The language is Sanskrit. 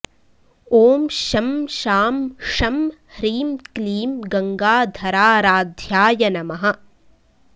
ॐ शं शां षं ह्रीं क्लीं गङ्गाधराराध्याय नमः